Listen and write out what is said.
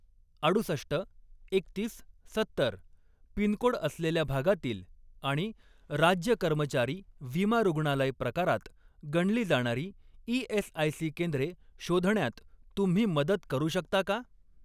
अडुसष्ट, एकतीस, सत्तर पिनकोड असलेल्या भागातील आणि राज्य कर्मचारी विमा रुग्णालय प्रकारात गणली जाणारी ई.एस.आय.सी. केंद्रे शोधण्यात तुम्ही मदत करू शकता का?